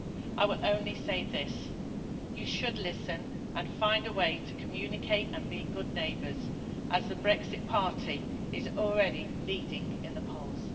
I will only say this you should listen and find a way to communicate and be good neighbours, as the Brexit party is already leading in the polls.